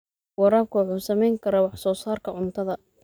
Waraabka wuxuu saameyn karaa wax soo saarka cuntada.